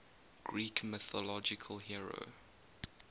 greek mythological hero